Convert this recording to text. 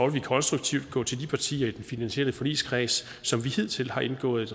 vi konstruktivt gå til de partier i den finansielle forligskreds som vi hidtil har indgået